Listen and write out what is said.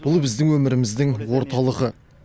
бұл біздің өміріміздің орталығы